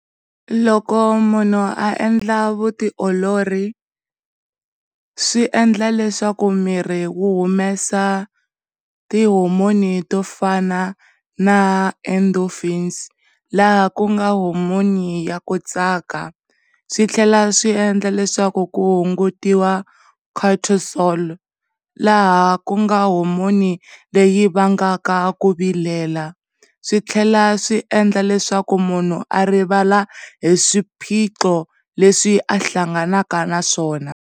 Loko munhu a endla vutiolori swiendla leswaku miri wu humesa tihomoni to fana na endofini, laha ku nga huma vunyiki ya ku tsaka yo swi tlhela swi endla leswaku ku hungutiwa contasol laha ku nga homoni leyi va nga ka ku vilela swi tlhela swi endla leswaku munhu a rivala hi swiphiqho leswi a hlanganeka naswona.